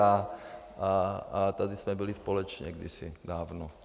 A tady jsme byli společně kdysi dávno.